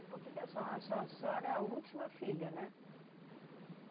E por que que a senho a senho a senhora é a última filha, né?